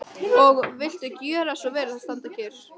Og viltu gjöra svo vel að standa kyrr.